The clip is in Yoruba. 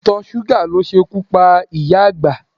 Ìtọ̀ṣúgà ló ṣekú pa ìyá àgbà.